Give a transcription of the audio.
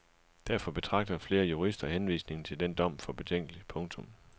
Derfor betragter flere jurister henvisningen til den dom for betænkelig. punktum